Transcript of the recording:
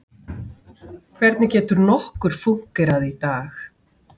Hvernig getur nokkur fúnkerað í dag?